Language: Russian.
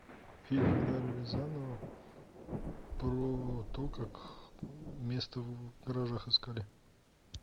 фильм эльдара рязанова про то как место в гаражах искали